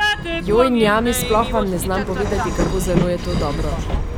Joj, njami, sploh vam ne znam povedati, kako zelo je to dobro!